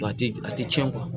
A tɛ a tɛ cɛn